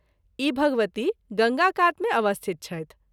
ई भगवती गंगा कात मे अवस्थित छथि।